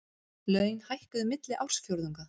Laun hækkuðu milli ársfjórðunga